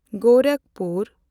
Gorakhpur